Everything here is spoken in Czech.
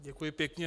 Děkuji pěkně.